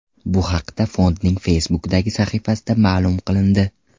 Bu haqda fondning Facebook’dagi sahifasida ma’lum qilindi .